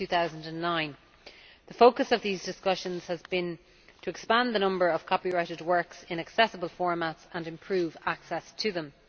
2009. The focus of these discussions has been to expand the number of copyrighted works in accessible formats and improve access to them.